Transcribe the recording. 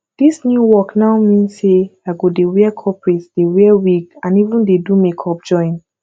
dis new work now mean say i go dey wear corporate dey wear wig and even dey do makeup join